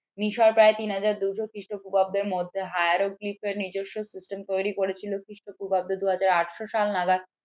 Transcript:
মিশর প্রায় তিন হাজার দুশো খ্রিস্টপূর্বাব্দের মধ্যে নিজস্ব system তৈরি করেছিল খ্রিস্টপূর্বাব্দ দু হাজার আটশ সাল নাগাদ